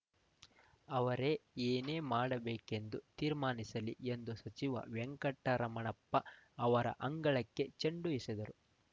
ಅವರೇ ಏನೆ ಮಾಡಬೇಕೆಂದು ತೀರ್ಮಾನಿಸಲಿ ಎಂದು ಸಚಿವ ವೆಂಕಟರಮಣಪ್ಪ ಅವರ ಅಂಗಳಕ್ಕೆ ಚೆಂಡು ಎಸೆದರು